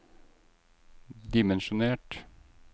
dimensjonert